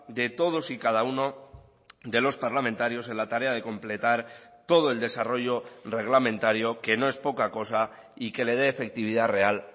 de todos y cada uno de los parlamentarios en la tarea de completar todo el desarrollo reglamentario que no es poca cosa y que le dé efectividad real